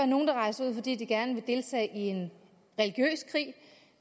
nogle der rejser ud fordi de gerne vil deltage i en religiøs krig